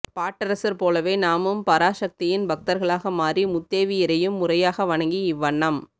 பாட்டரசர் போலவே நாமும் பராசக்தியின் பக்தர்களாக மாறி முத்தேவியரையும் முறையாக வணங்கி இவ்வண்ணம்